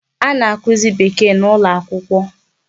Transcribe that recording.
A na-akụzị Bekee n'ụlọakwụkwọ.